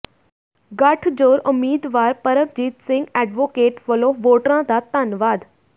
ਗਠਜੋੜ ਉਮੀਦਵਾਰ ਪਰਮਜੀਤ ਸਿੰਘ ਐਡਵੋਕਟ ਵੱਲੋਂ ਵੋਟਰਾਂ ਦਾ ਧੰਨਵਾਦ